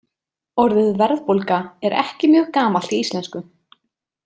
Orðið verðbólga er ekki mjög gamalt í íslensku.